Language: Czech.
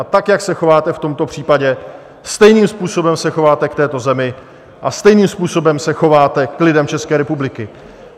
A tak, jak se chováte v tomto případě, stejným způsobem se chováte k této zemi a stejným způsobem se chováte k lidem České republiky.